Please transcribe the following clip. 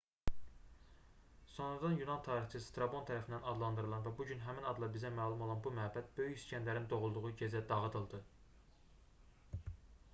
sonradan yunan tarixçisi strabon tərəfindən adlandırılan və bu gün həmin adla bizə məlum olan bu məbəd böyük i̇skəndərin doğulduğu gecə dağıdıldı